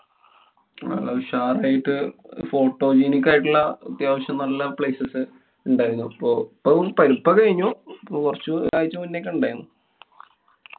നല്ല ഉഷാറായിട്ട് photogenic ആയിട്ടുള്ള അതാവശ്യം നല്ല places ഉണ്ടായിരുന്നു. പ്പൊ~ പ്പളും~ ഇപ്പൊ കഴിഞ്ഞു. ഇപ്പൊ കൊറച്ചു ഒരാഴ്ച്ച മുന്നേ ഒക്കെ ഉണ്ടായിരുന്നു.